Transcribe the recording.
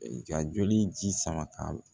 Ka joli ji sama ka